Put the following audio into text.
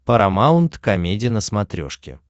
парамаунт комеди на смотрешке